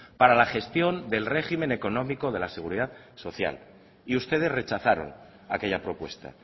para la gestión del régimen económico de la seguridad social y ustedes rechazaron aquella propuesta